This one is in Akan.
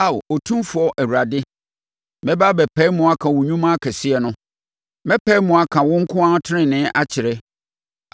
Ao Otumfoɔ Awurade, mɛba abɛpae mu aka wo nnwuma akɛseɛ no; mɛpae mu aka wo nko ara tenenee akyerɛ.